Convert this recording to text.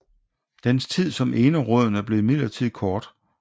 Dens tid som enerådende blev imidlertid kort